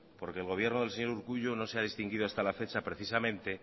porque el gobierno del señor urkullu no se ha distinguido hasta la fecha precisamente